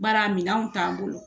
Bari a minɛnw t'an bolo.